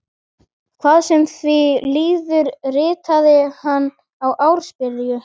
Hvað sem því líður, ritaði hann í ársbyrjun